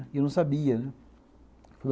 E eu não sabia, né?